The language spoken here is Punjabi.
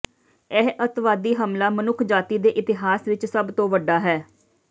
ਇਹ ਅੱਤਵਾਦੀ ਹਮਲਾ ਮਨੁੱਖਜਾਤੀ ਦੇ ਇਤਿਹਾਸ ਵਿਚ ਸਭ ਤੋਂ ਵੱਡਾ ਹੈ